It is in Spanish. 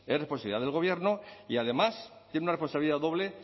responsabilidad del gobierno y además tienen una responsabilidad doble